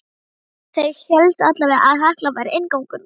Þeir héldu allavega að Hekla væri inngangur vítis.